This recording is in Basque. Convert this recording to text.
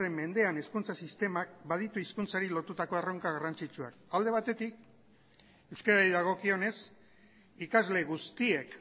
mendean hezkuntza sistemak baditu hizkuntzari lotutako erronka garrantzitsuak alde batetik euskarari dagokionez ikasle guztiek